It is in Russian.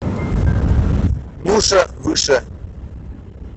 нюша выше